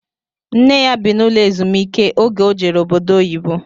Nne ya bi n'ụlọ ezumiike oge o jere obodo oyibo